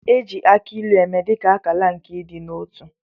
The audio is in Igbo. E ji akị ilu eme dị ka akala nke ịdị n'otu